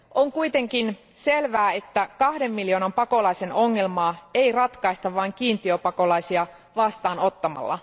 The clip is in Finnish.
On kuitenkin selvää, että kahden miljoonan pakolaisen ongelmaa ei ratkaista vain kiintiöpakolaisia vastaanottamalla.